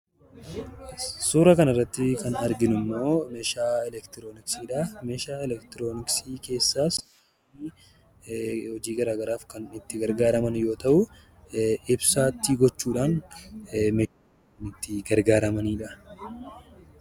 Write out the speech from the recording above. Suura kanarrattii kan arginummoo meeshaa elektirooniksiidhaa. Meeshaa elektirooniksii keessaas hojii garaa garaaf kan itti gargaaraman yoo ta'uu ibsaa itti gochuudhaan ittii gargaaramanidha.